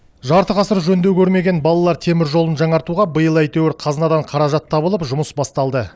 жарты ғасыр жөндеу көрмеген балалар теміржолын жаңартуға биыл әйтеуір қазынадан қаражат табылып жұмыс басталды